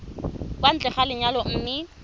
kwa ntle ga lenyalo mme